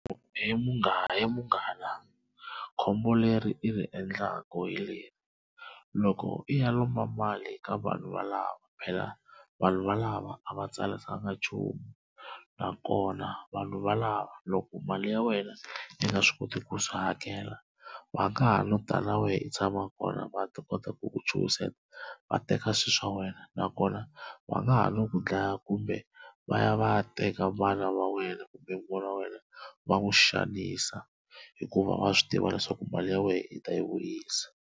He munghana he munghana khombo leri i ri endlaku hi leri loko i ya lomba mali eka vanhu va lava phela vanhu va lava a va tsalisangi nchumu na kona vanhu valava loko mali ya wena yi nga swi koti ku swi hakela va nga ha no tala wena i tshama kona va ta kota ku ku chuhiseta va teka swi swa wena na kona va nga ha no ku dlaya kumbe va ya va ya teka vana va wena kumbe n'wana wa wena va n'wi xanisa hikuva va swi tiva leswaku mali ya wena i ta yi vuyisa.